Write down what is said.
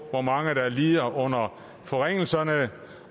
hvor mange der lider under forringelserne